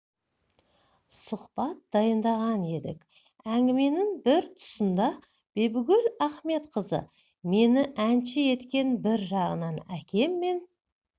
сұхбат дайындаған едік әңгіменің бір тұсында бибігүл ахметқызы мені әнші еткен бір жағынан әкем мен